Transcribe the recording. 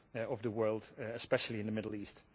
of the world, especially in the Middle East.